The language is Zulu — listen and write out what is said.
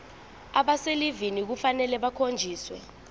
abaselivini kufanele bakhonjiswe